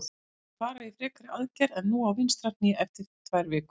Hann mun fara í frekari aðgerð en nú á vinstra hné eftir tvær vikur.